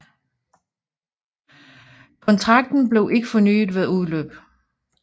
Kontrakten blev ikke fornyet ved udløb